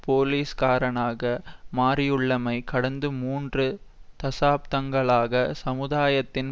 போலிஸ்காரனாக மாறியுள்ளமை கடந்த மூன்று தசாப்தங்களாக சமுதாயத்தின்